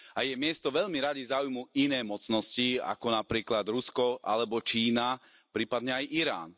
A jej miesto veľmi radi zaujmú iné mocnosti, ako napríklad Rusko, alebo Čína, prípadne aj Irán.